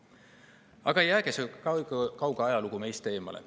Aga jäägu see kauge ajalugu meist eemale.